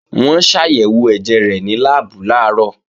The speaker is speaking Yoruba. Wọ́n ṣàyẹ̀wò ẹ̀jẹ̀ rẹ̀ ní láàbù làárọ̀